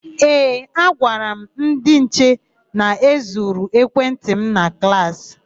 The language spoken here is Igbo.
Ee, agwara m ndị nche na e zuru ekwentị m na klaasị.